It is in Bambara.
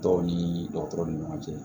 Dɔw ni dɔgɔtɔrɔ ni ɲɔgɔn cɛ